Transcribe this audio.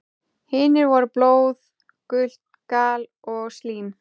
Hinir voru blóð, gult gall og slím.